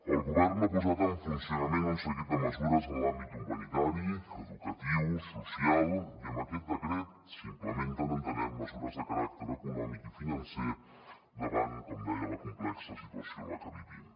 el govern ha posat en funcionament un seguit de mesures en els àmbits humanitari educatiu social i amb aquest decret s’implementen entenem mesures de caràcter econòmic i financer davant com deia la complexa situació en la que vivim